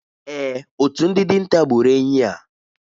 Èè, otu ndị dinta gburu enyí a.